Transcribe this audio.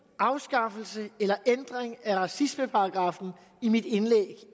afskaffelse eller ændring af racismeparagraffen i mit indlæg